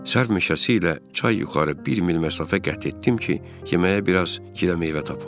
Sərv meşəsi ilə çay yuxarı bir mil məsafə qət etdim ki, yeməyə biraz qida meyvə tapım.